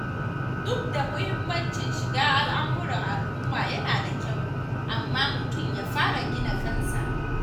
Duk da muhimmancin shiga al'amuran al'uma yana da kyau, amma mutum ya fara gina kansa.